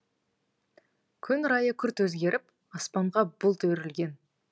күн райы күрт өзгеріп аспанға бұлт үйірілген